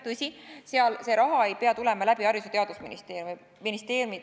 Tõsi, see raha ei pea tulema Haridus- ja Teadusministeeriumi kaudu.